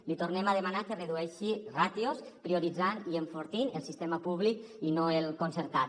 li tornem a demanar que redueixi ràtios prioritzant i enfortint el sistema públic i no el concertat